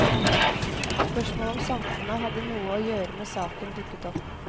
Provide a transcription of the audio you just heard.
Spørsmålet om samfunnet hadde noe å gjøre med saken, dukket opp.